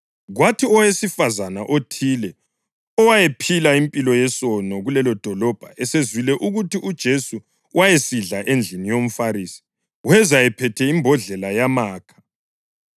Kwathi owesifazane othile owayephila impilo yesono kulelodolobho esezwile ukuthi uJesu wayesidla endlini yomFarisi weza ephethe imbodlela yamakha,